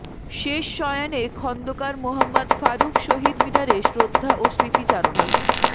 শেষ শয়ানে খন্দকার মোহাম্মদ ফারুক শহীদ মিনারে শ্রদ্ধা ও স্মৃতিচারণা